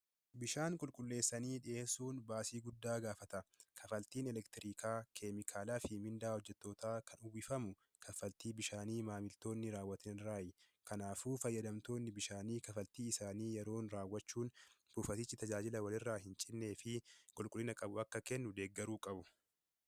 Bishaan qulqulleessanii dhiyeessuun baasii guddaa gaafata. Kaffaltiin elektiriikaa, keemikaalaa fi miindaa hojjettootaa kan uwwifamu kaffaltii bishaanii maamiltoonni raawwatan irraati. Kanaafuu faayyadamtoonni bishaanii kaffaltii isaanii yeroon raawwachuun buufatichi tajaajila walirraa hin cinnee fi qulqullina qabu akka kennu deeggaruu qabu.